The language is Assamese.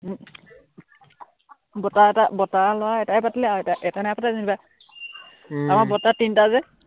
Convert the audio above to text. উম বৰতাৰ এটা, বৰতাৰ লৰা এটাই পাতিলে, আৰু এটা এটাই নাই পতা যেনিবা, আমাৰ বৰতা তিনটা যে